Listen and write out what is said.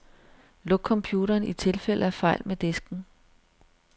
Luk computeren i tilfælde af fejl med disken.